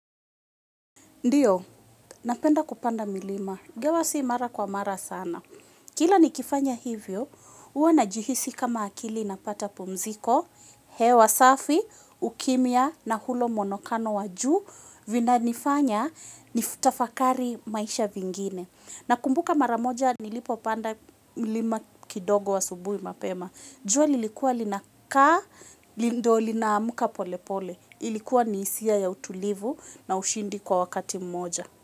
Ndiyo napenda kupanda milima ingawa si mara kwa mara sana. Kila nikifanya hivyo huwa najihisi kama akili inapata pumziko hewa safi ukimya na hulo mwonokano wa juu vina nifanya nitafakari maisha vingine. Nakumbuka mara moja nilipo panda milima kidogo wa asubuhi mapema. Jua lilikuwa linakaa ndiyo lina amka pole pole ilikuwa ni hisia ya utulivu na ushindi kwa wakati mmoja.